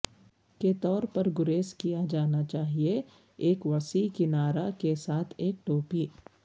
کے طور پر گریز کیا جانا چاہئے ایک وسیع کنارا کے ساتھ ایک ٹوپی